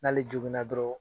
N'ale jogin na dɔrɔn